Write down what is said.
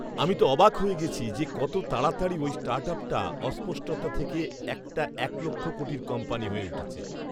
আমি তো অবাক হয়ে গেছি যে কত তাড়াতাড়ি ওই স্টার্টআপটা অস্পষ্টতা থেকে একটা এক লক্ষ কোটির কোম্পানি হয়ে উঠেছে!